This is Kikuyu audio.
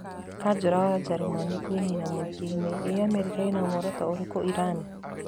Kanjũra wa Jeremani kũinaina műingĩinĩ Ĩ Amerika ĩna muoroto ũrĩkũ Irani?